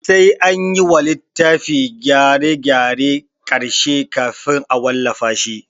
Sai anyi wa littafi gyare gyaren ƙarshe kafin a wallafa shi